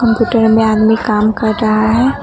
Computer में आदमी काम कर रहा है।